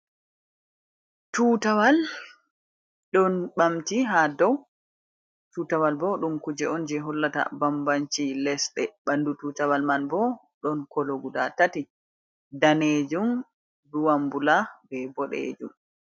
Tutawal ɗon ɓamti ha dow tutawal bo ɗum kuje on je hollata bambanci lesde ɓandu tutawal man bo don kolo guda tati danejum buwambula be bodejum.